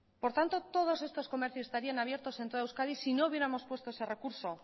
por tanto todos estos comercios estarían abiertos en toda euskadi si no hubiéramos puesto ese recurso